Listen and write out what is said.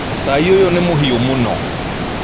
Cai ũyũ nĩ mũhiũ mũno.